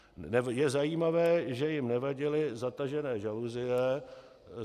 Je zajímavé, že jim nevadily zatažené žaluzie.